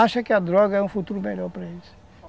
Acha que a droga é um futuro melhor para eles.